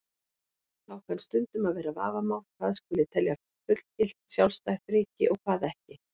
Þá kann stundum að vera vafamál hvað skuli telja fullgilt, sjálfstætt ríki og hvað ekki.